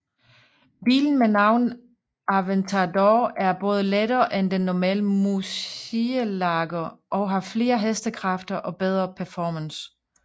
Bilen med navnet Aventador er både lettere end den normale murcielago og har flere hestekræfter og bedre performance